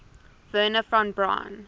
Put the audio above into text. wernher von braun